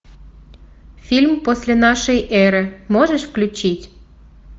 фильм после нашей эры можешь включить